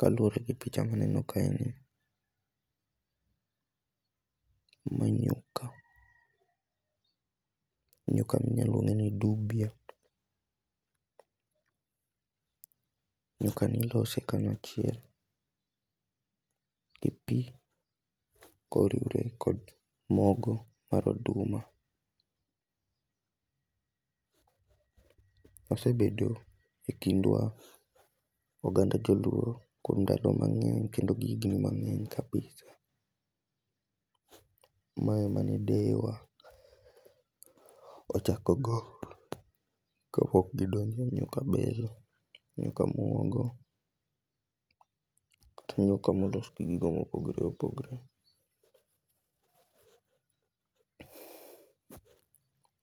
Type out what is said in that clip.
Kaluore gi picha maneno kae ni, gima angeyo ka, nyuka ni iluonge nu dubia, nyuka ni ilose kanyachiel gi pii koriwre kod mogo mar oduma. Osebedo e kindwa ,oganda joluo kuom ndalo mangeny kendo gi higni mangeny kabisa. Mae emane deyewa ochako go kapok gidonjo e nyuka bel, nyuka muogo kata nyuka molos gi gigo mopogore opogore.